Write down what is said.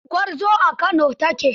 Gwarzo a Kano ta ke.